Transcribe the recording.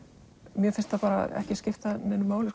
mér finnst það bara ekki skipta neinu máli